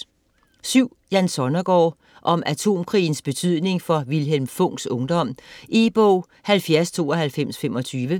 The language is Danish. Sonnergaard, Jan: Om atomkrigens betydning for Vilhelm Funks ungdom E-bog 709225